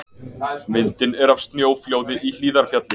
Myndin er af snjóflóði í Hlíðarfjalli.